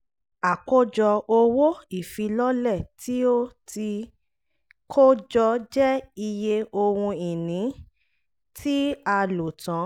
àkójọ owó ìfilọ́lẹ̀ tí ó ti kó jọ jẹ́ iye owó ohun-ìní tí a "lo tán"